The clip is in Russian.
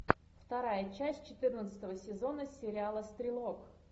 вторая часть четырнадцатого сезона сериала стрелок